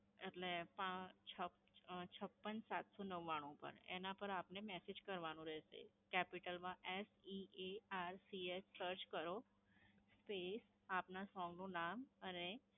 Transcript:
એટલે પા છપ અ છપ્પન સાત સૌ નવ્વાણું પર. એના પર આપને મેસેજ કરવાનો રહેશે. capital માં S, E, A, R, C, H search કરો, space, આપના song નું નામ અને